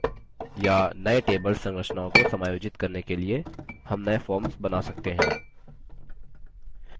या नये table संरचनाओं को समायोजित करने के लिए हम नये forms बना सकते हैं